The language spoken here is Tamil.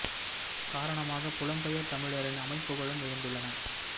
காரணமாக புலம்பெயர் தமிழரின் அமைப்புகழும் இருந்துள்ளன